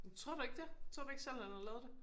Tror du ikke det? Tror du ikke selv han har lavet det?